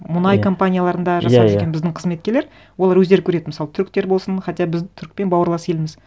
мұнай компанияларында иә иә жасап жүрген біздің қызметкерлер олар өздері көреді мысалы түріктер болсын хотя біз түрікпен бауырлас елміз